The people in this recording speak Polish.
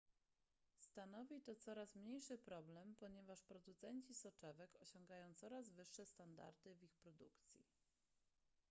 stanowi to coraz mniejszy problem ponieważ producenci soczewek osiągają coraz wyższe standardy w ich produkcji